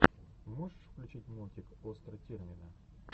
можешь включить мультик остра тирнина